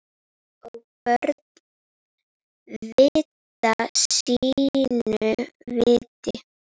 Og börn vita sínu viti.